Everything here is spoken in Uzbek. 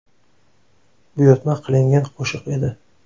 Buyurtma qilingan qo‘shiq edi.